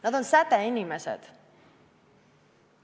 Nad on sädeinimesed.